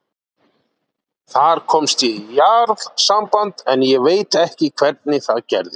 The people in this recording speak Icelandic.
Þar komst ég í jarðsamband, en ég veit ekki hvernig það gerðist.